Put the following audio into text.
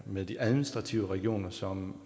med de administrative regioner som